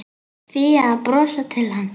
Fía að brosa til hans.